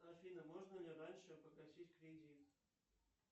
афина можно ли раньше погасить кредит